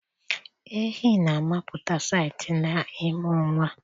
Ehi na-amụpụta site na ịmụ nwa